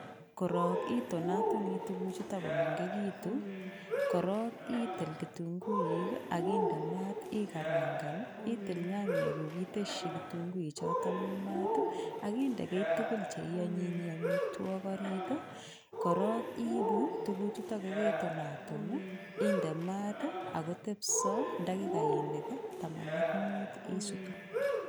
Korong itonotonii tuku chuton komengekitun koron itik kitunguuik ak inde maat ikarankan nii, itik nyanyiguu ateshi kitunguik choton mii maat ak inde kii tukul cheionyoyi omitwoki oritii koron iibu tukuk chutok koketonaton nii inde maat akotepso takikaini taman ak muut isutu.